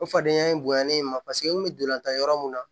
O fadenya in bonyanalen ye ma paseke n bɛ dolantan yɔrɔ mun na